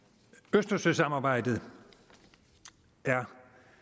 østersøsamarbejdet er